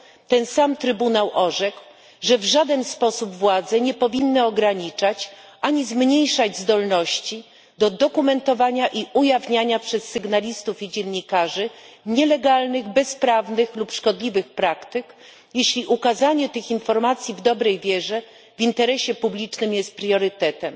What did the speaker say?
ten sam Trybunał orzekł, że w żaden sposób władze nie powinny ograniczać, ani zmniejszać zdolności do dokumentowania i ujawniania przez sygnalistów i dziennikarzy nielegalnych, bezprawnych lub szkodliwych praktyk, jeśli ukazanie tych informacji w dobrej wierze w interesie publicznym jest priorytetem.